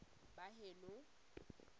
baheno